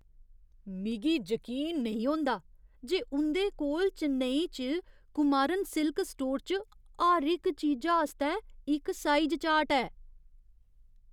मिगी जकीन नेईं होंदा जे उं'दे कोल चेन्नई च कुमारन सिल्क स्टोर च हर इक चीजा आस्तै इक साइज चार्ट ऐ।